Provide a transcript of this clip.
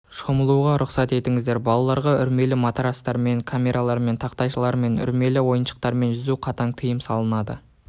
шомылуға рұсқат етіңіздер балаларға үрлемелі матрацтармен камералармен тақтайлармен үрлемелі ойыншықтармен жүзуге қатаң тиым салынады